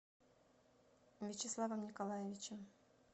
вячеславом николаевичем